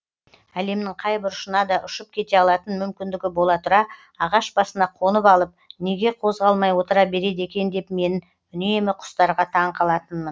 әлемнің қай бұрышына да ұшып кете алатын мүмкіндігі бола тұра ағаш басына қонып алып неге қозғалмай отыра береді екен деп мен үнемі құстарға таң қалатынмын